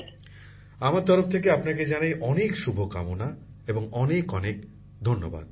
প্রধানমন্ত্রী জীঃ আমার তরফ থেকে আপনাকে জানাই অনেক শুভকামনা ও অনেক অনেক ধন্যবাদ